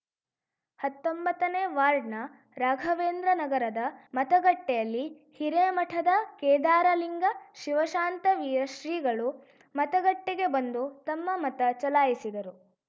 ಹತ್ತೊಂಬತ್ತ ನೇ ವಾರ್ಡ್‌ ನ ರಾಘವೇಂದ್ರ ನಗರದ ಮತಗಟ್ಟೆಯಲ್ಲಿ ಹಿರೇಮಠದ ಕೇದಾರಲಿಂಗ ಶಿವಶಾಂತವೀರ ಶ್ರೀಗಳು ಮತಗಟ್ಟೆಗೆ ಬಂದು ತಮ್ಮ ಮತ ಚಲಾಯಿಸಿದರು